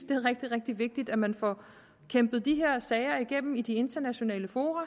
det er rigtig rigtig vigtigt at man får kæmpet de her sager igennem i de internationale fora